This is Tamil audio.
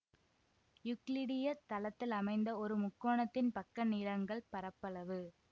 யூக்ளிடிய தளத்திலமைந்த ஒரு முக்கோணத்தின் பக்கநீளங்கள் பரப்பளவு